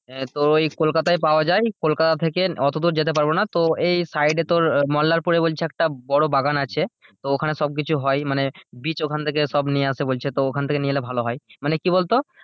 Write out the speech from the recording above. আহ তো এই কলকাতায় পাওয়া যায়, কলকাতা থেকে অতদুর যেতে পারবো না তো এই side এ তোর মোল্লারপুরে বলছে একটা বড়ো বাগান আছে তো ওখানে সব কিছু হয় মানে বীজ ওখান থেকে সব নিয়ে আসে বলছে তো ওখান থেকে নিয়ে এলে ভালো হয় মানে কি বলতো